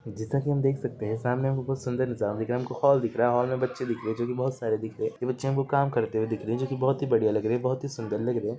जेसा की हम देख सकते है सामने हमको एक सुन्दर नजारा दिख रहा है हमको हॉल दिख रहा है हॉल में बच्चे दिख रहे है जो की बहुत सारे दिख रहे है यह बच्चे हमको काम करते हुए दिख रहे है जो की बहुत हि बढ़िया लग रहे है बहुत ही सुन्दर लग रहे है ।